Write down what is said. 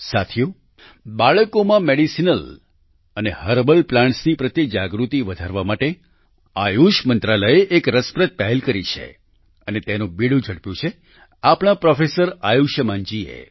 સાથીઓ બાળકોમાં મેડિસિનલ અને હર્બલ પ્લાન્ટ્સ પ્રત્યે જાગૃતિ વધારવા માટે આયુષ મંત્રાલયએ એક રસપ્રદ પહેલ કરી છે અને તેનું બીડું ઝડપ્યું છે આપણા પ્રોફેસર આયુષ્યમાનજીએ